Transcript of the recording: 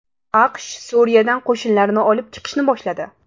AQSh Suriyadan qo‘shinlarini olib chiqishni boshladi.